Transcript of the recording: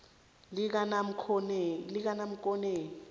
likanamkoneni